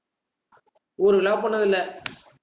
ஊருக்கெல்ல போனதில்ல